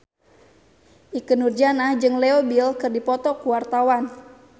Ikke Nurjanah jeung Leo Bill keur dipoto ku wartawan